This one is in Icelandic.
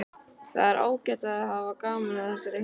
Það er ágætt ef þau hafa gaman af þessari heimsókn.